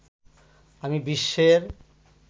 আমি বিশ্বের